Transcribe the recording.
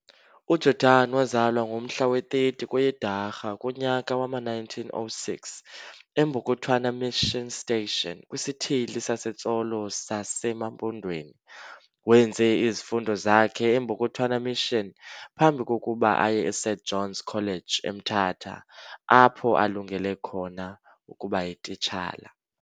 UJordan wazalwa ngomhla we-30 kweyeDwarha kunyaka wama-1906 eMbokothwana mission station kwisithili saseTsolo sazeMampondweni. Wenze izifundo zakhe eMbokothwana mission phambi kokuba aye eSt John's College eMtata, apho alungele khona ukuba yiTitshala.